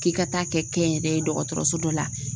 K'i ka taa kɛ kɛnyɛrɛye dɔgɔtɔrɔso dɔ la